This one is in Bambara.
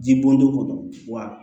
Ji bɔn don ko don wa